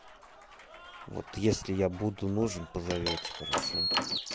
вот если я буду нужен позовёте хорошо